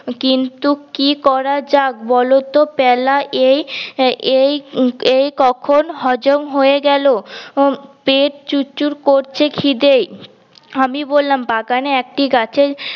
কিন্তু কি করা যাক বল তো প্যালা এই এই কখন হজম হয়ে গেলো পেট চুর চুর করছে খিদে ই আমি বললাম বাগানে এক টি গাছে